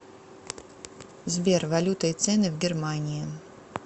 сбер валюта и цены в германии